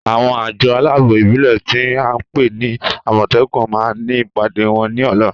Àwọn àjọ aláàbò ìbílè tí a ńpè ní àmòtékù ma ní ìpàdé wọn ní ọ̀lá